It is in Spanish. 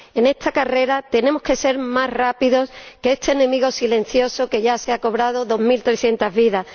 En esta carrera tenemos que ser más rápidos que este enemigo silencioso que ya se ha cobrado dos mil trescientas vidas.